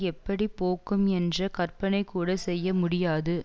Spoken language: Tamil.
எப்படி போக்கும் என்ற கற்பனைகூட செய்ய முடியாது